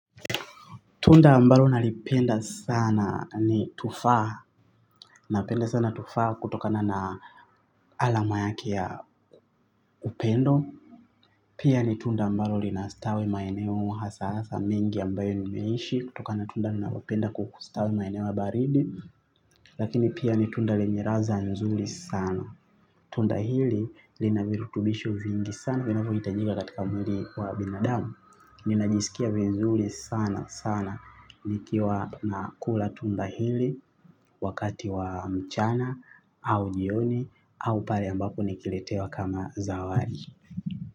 Tunda ambalo nalipenda sana ni tufaha, napenda sana tufaha kutokana na alama yake ya upendo. Pia ni tunda ambalo linastawi maeneo hasa hasa mingi ambayo nimeishi, kutokana na tunda linalopenda kukustawi maeneo ya baridi. Lakini pia ni tunda lenye raza nzuri sana. Tunda hili linavirutubisho vingi sana, vinavyohitajika katika mwili wa binadamu. Ninajisikia vizuri sana sana nikiwa nakula tunda hili wakati wa mchana au jioni au pale ambapo nikiletewa kama zawadi.